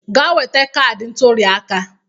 Gaa weta kaadị ntụliaka!